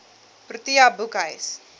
protea boekhuis